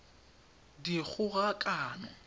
dikgogakano